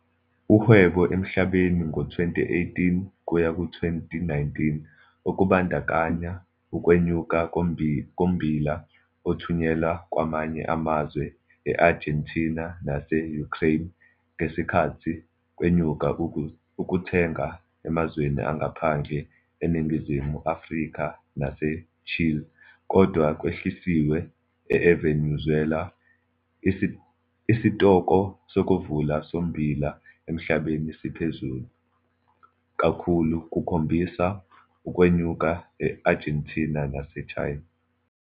Uhwebo emhlabeni ngo-2018 kuyaku 2019 okubandakanya ukwenyuka kommbila othunyelwa kwamanye amazwe e-Argentina nase-Ukraine, ngesikhathi kwenyuka ukuthenga emazweni angaphandle eNingizimu Afrika naseChile, kodwa kwehlisiwe eVenezuela. Isitoko sokuvala sommbila emhlabeni siphezulu, kakhulu kukhombisa ukwenyuka e-Argentina nase-China.